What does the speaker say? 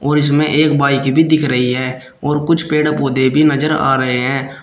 और इसमें एक बाइक भी दिख रही है और कुछ पेड़ पौधे भी नजर आ रहे हैं।